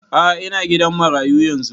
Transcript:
A'a ina gidan marayu yanzun